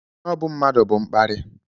snobb mmadụ bụ mkparị.